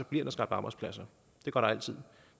bliver skabt arbejdspladser det gør der altid